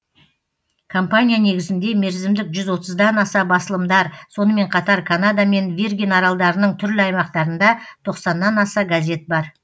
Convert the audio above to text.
компания негізінде мерзімдік жүз отыздан аса басылымдар сонымен қатар канада мен виргин аралдарының түрлі аймақтарында тоқсаннан аса газет бар